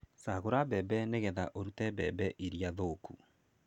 Cagũra mbembe nĩgetha ũrute mbembe irĩa thũku.